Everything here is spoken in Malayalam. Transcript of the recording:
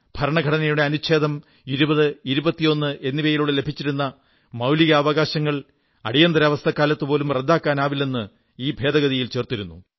ഭരണഘടനയുടെ അനുച്ഛേദം 20 21 എന്നിവയിലൂടെ ലഭിച്ചിരുന്ന മൌലികാവകാശങ്ങൾ അടിയന്തരാവസ്ഥക്കാലത്തുപോലും റദ്ദാക്കാനാവില്ലെന്ന് ഈ ഭേദഗതിയിൽ ചേർത്തിരുന്നു